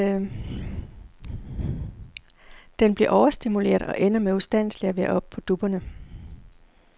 Den bliver overstimuleret og ender med ustandselig at være oppe på dupperne.